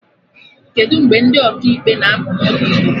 Kedụ mgbe ndị Ọkaikpe na apụ n'ụlọ ikpe?